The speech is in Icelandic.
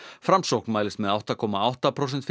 framsókn mælist með átta komma átta prósenta